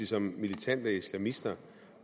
som militante islamister